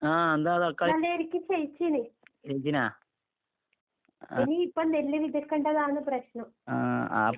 ആഹ് എന്താ തക്കാളി ആഹ്. ആഹ് ആപ് ചെയ്യിച്ചിനാ